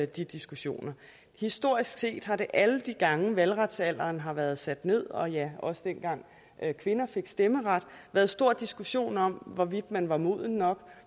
de diskussioner historisk set har der alle de gange valgretsalderen har været sat ned og ja også dengang kvinder fik stemmeret været stor diskussion om hvorvidt man var moden nok